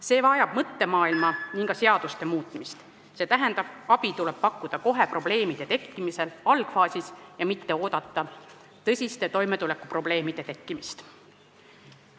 See vajab mõttemaailma ja ka seaduste muutmist, st abi tuleb pakkuda kohe probleemide tekkimisel algfaasis, mitte oodata tõsiste toimetulekuprobleemide tekkimist.